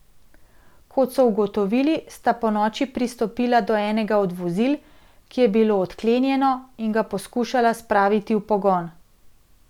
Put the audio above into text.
Kot so ugotovili, sta ponoči pristopila do enega od vozil, ki je bilo odklenjeno, in ga poskušala spraviti v pogon.